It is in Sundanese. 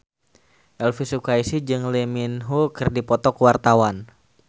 Elvy Sukaesih jeung Lee Min Ho keur dipoto ku wartawan